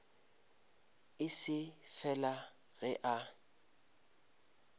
e se fela ge a